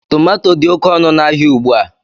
Tomato dị oké ọnụ ahịa ugbu a.